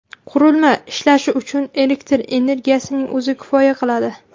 Qurilma ishlashi uchun elektr energiyasining o‘zi kifoya qiladi.